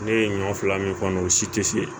Ne ye ɲɔ fila min kɔnɔ o si tɛ se